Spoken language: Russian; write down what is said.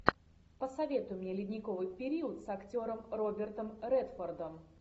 посоветуй мне ледниковый период с актером робертом редфордом